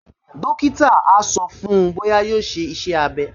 Dókítà á sọ fún-un bóyá yóò ṣe iṣẹ́-abẹ́